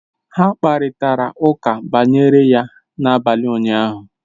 Ha kparịtara ụka banyere ya n'abalị ụnyahụ